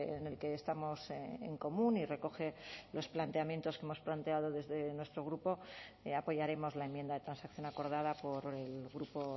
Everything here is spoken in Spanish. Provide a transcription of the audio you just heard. en el que estamos en común y recoge los planteamientos que hemos planteado desde nuestro grupo apoyaremos la enmienda de transacción acordada por el grupo